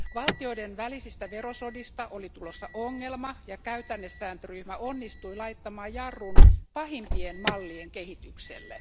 Valtioiden välisistä verosodista oli tulossa ongelma, ja käytännesääntöryhmä onnistui laittamaan jarrun pahimpien mallien kehitykselle.